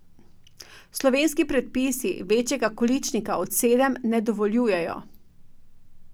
Slovenski predpisi večjega količnika od sedem ne dovoljujejo.